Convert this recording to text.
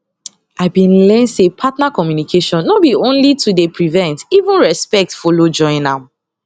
i been learn say partner communication no be only to dey prevent even respect follow join am